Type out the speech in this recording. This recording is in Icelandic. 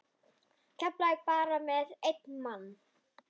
Keflavík bara með einn mann?